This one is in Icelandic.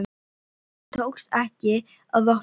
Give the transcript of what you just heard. En tókst ekki að opna glugg